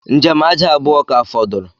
Njem aja abuọ ka fọdụrụ